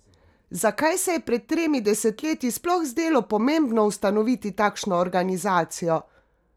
Zakaj se je pred tremi desetletji sploh zdelo pomembno ustanoviti takšno organizacijo?